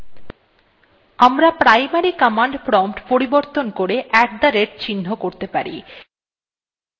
আমরা primary command prompt পরিবর্তন করে at the rate <@> চিহ্ন করতে পারি